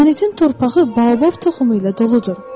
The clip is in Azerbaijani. Planetin torpağı Baobab toxumu ilə doludur.